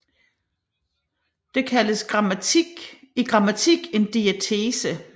Det kaldes i grammatik en diatese